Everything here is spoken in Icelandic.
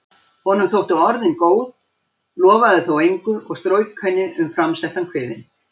Honum þóttu orðin góð, lofaði þó engu og strauk henni um framsettan kviðinn.